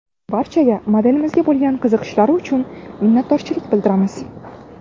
Barchaga modelimizga bo‘lgan qiziqishlari uchun minnatdorchilik bildiramiz!